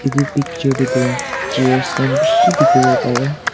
yeh picture te tu chair khan bisi dekhi bo pai ase.